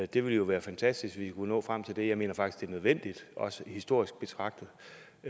det ville jo være fantastisk hvis vi kunne nå frem til det jeg mener faktisk nødvendigt også historisk betragtet